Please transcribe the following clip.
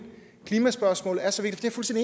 at klimaspørgsmålet er så vigtigt